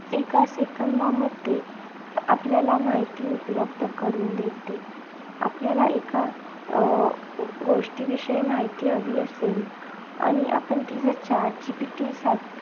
एका second मध्ये आपल्याला माहिती उपलब्ध करून देते. आपल्याला एका अं गोष्टीविषयी माहिती हवी असेल आणि आपण ती जर chat GPT साठी